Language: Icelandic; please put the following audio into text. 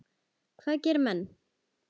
Hvað gera menn?